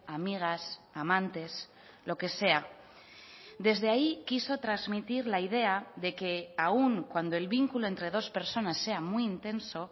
amigas amantes lo que sea desde ahí quiso transmitir la idea de que aun cuando el vínculo entre dos personas sea muy intenso